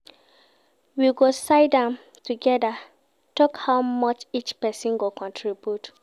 We go siddon togeda tok how much each pesin go contribute.